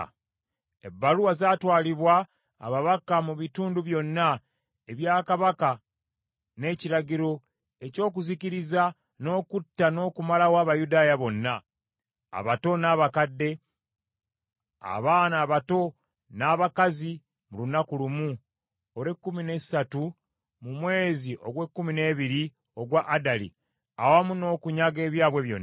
Ebbaluwa zaatwalibwa ababaka mu bitundu byonna ebya Kabaka n’ekiragiro, eky’okuzikiriza, n’okutta n’okumalawo Abayudaaya bonna, abato n’abakadde, abaana abato n’abakazi mu lunaku lumu olw’ekkumi n’essatu mu mwezi ogw’ekkumi n’ebiri ogwa Adali, awamu n’okunyaga ebyabwe byonna.